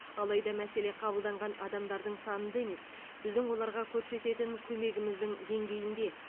алайда мәселе қабылданған адамдардың санында емес біздің оларға көрсететін көмегіміздің деңгейінде